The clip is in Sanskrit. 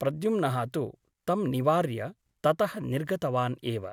प्रद्युम्नः तु तं निवार्य ततः निर्गतवान् एव ।